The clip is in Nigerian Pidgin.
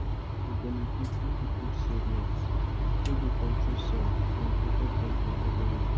fowl go benefit if you put shade net wey go control sun and protect dem from heavy rain.